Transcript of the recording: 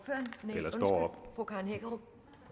eller står op